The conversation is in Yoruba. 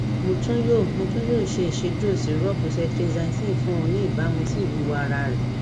mo tun yoo mo tun yoo ṣe iṣeduro syrup cetrizine fun u ni ibamu si iwuwo ara rẹ